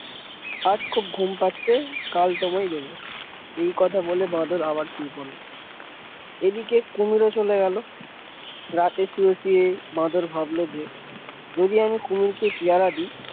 আজ খুব ঘুম পাচ্ছে কাল তোমায় দেব এই কথা বলে বাঁদর আবার শুয়ে পড়ল এদিকে কুমির ও চলে গেল রাতে শুয়ে শুয়ে বাদর ভাবল যে যদি আমি কুমিরকে পেয়ারা দিই।